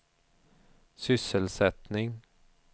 sysselsättning